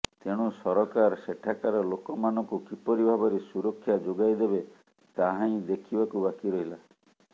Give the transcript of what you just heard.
ତେଣୁ ସରକାର ସେଠାକାର ଲୋକମାନଙ୍କୁ କିପରି ଭାବରେ ସୁରକ୍ଷା ଯୋଗାଇ ଦେବେ ତାହା ହିଁ ଦଖେିବାକୁ ବାକି ରହିଲ